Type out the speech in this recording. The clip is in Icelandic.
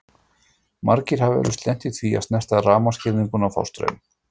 Margir hafa eflaust lent í því að snerta rafmagnsgirðingu og fá straum.